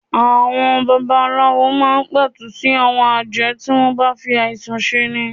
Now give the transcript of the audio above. Àwọn baba aláwo máa ń pẹ̀tù sí àwọn àjẹ́ tí wọ́n ń bá ń fi àìsàn ṣe ni.